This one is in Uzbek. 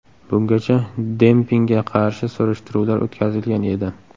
Bungacha dempingga qarshi surishtiruvlar o‘tkazilgan edi.